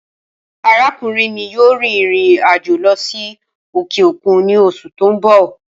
Arakunrin mi yoo rin irin ajo lọ si okeokun ni oṣu ti n bọ